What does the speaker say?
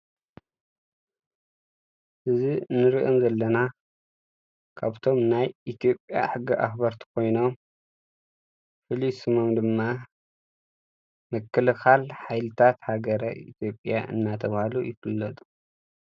እዚ ንሪኦም ዘለና ካብቶም ናይ ኢትዮጵያ ሕጊ ኣኽበርቲ ኮይኖም ፍሉይ ስሞም ድማ ምክልኻል ሓይልታት ሃገረ ኢትዮጵያ እናተባህሉ ይፍለጡ፡፡